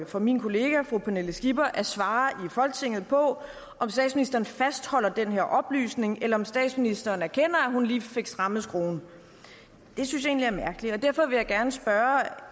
for min kollega fru pernille skipper at svare i folketinget på om statsministeren fastholder den her oplysning eller om statsministeren erkender at hun lige fik strammet skruen det synes jeg egentlig er mærkeligt og derfor vil jeg gerne spørge